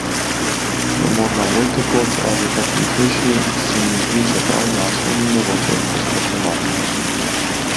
Je morda bolj tekoč, a zato plitvejši, se mi zdi, čeprav jasno ni mogoče posploševati.